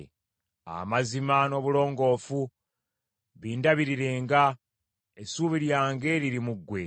Amazima n’obulongoofu bindabirirenga, essubi lyange liri mu ggwe.